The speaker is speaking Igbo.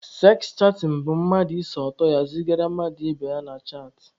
Seks chatịn bụ mmadụ ise ọtọ ya zigara mmadụ ibe ya na chaatị.